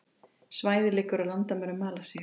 Svæðið liggur að landamærum Malasíu